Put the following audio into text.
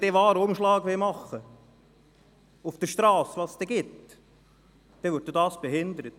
Wenn sie den Warenumschlag auf der Strasse durchführen möchten, die es dann geben wird, wird dies behindert.